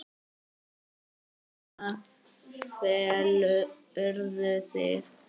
Þarna felurðu þig!